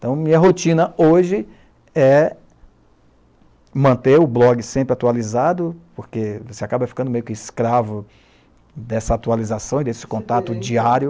Então, minha rotina hoje é manter o blog sempre atualizado, porque você acaba ficando meio que escravo dessa atualização e desse contato diário.